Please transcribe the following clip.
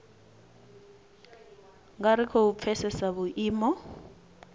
nga ri khou pfesesa vhuimo